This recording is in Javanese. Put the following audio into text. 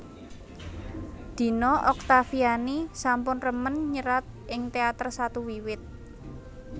Dina Oktaviani sampun remen nyerat ing teater satu wiwit